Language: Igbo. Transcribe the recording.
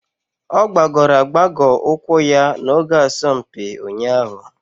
Ọ gbagọrọ agbagọ ụkwụ ya n'oge asọmpi ụnyahụ.